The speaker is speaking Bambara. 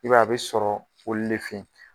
I b'a a be sɔrɔ olu de fe